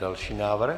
Další návrh.